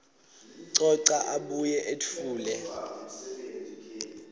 coca abuye etfule